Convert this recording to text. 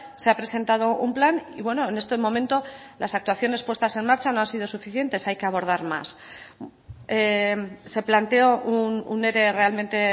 se ha presentado un plan y bueno en este momento las actuaciones puestas en marcha no han sido suficientes hay que abordar más se planteó un ere realmente